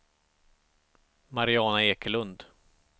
Mariana Ekelund